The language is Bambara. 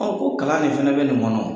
ko kalan de fana bɛ nin kɔnɔ wo.